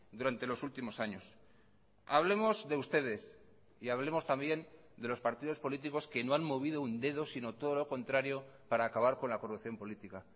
durante los últimos años hablemos de ustedes y hablemos también de los partidos políticos que no han movido un dedo sino todo lo contrario para acabar con la corrupción política